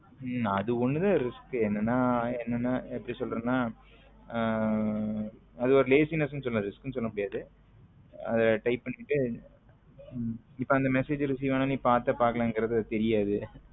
உம் அது ஒன்னு தன் risk என்னன்னா என்னன்னா எப்பிடி சொல்ல்றதுன உம் அது ஒரு laziness நு சொல்லாம் risk நு சொல்ல முடியாது அதா type பண்ணிட்டு இப்போ அந்த message receive ஆனா நீ பாத்த பாகலன்னு உனக்கு தெரியாது